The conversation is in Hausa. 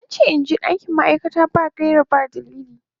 An ce in je dakin ma'aikata in gaira ba dalili.